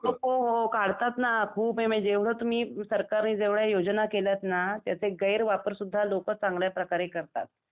हो हो काढतात ना खूप आहे जेवढं तुम्ही सरकार नि जेवढ्या योजना केल्या आहेत ना त्याचे गैर वापर सुद्धा लोकं चांगल्या प्रकारे करतात.